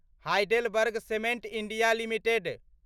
HeidelbergCement India limited